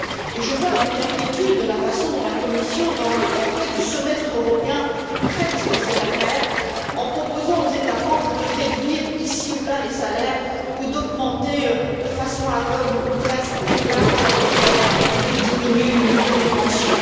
Et je vois avec inquiétude la façon dont la Commission, dans le paquet du semestre européen, traite de cette affaire en proposant aux États membres de réduire ici ou là les salaires ou d'augmenter, de façon aveugle ou presque, l'âge de la retraite et de diminuer le niveau des pensions.